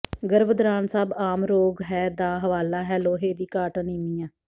ਗਰਭ ਦੌਰਾਨ ਸਭ ਆਮ ਰੋਗ ਹੈ ਦਾ ਹਵਾਲਾ ਹੈ ਲੋਹੇ ਦੀ ਘਾਟ ਅਨੀਮੀਆ